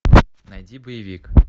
найди боевик